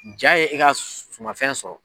Jaa ye e ka suman fɛn sɔrɔ.